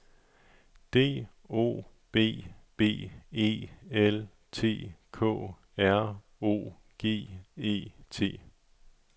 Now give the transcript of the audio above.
D O B B E L T K R O G E T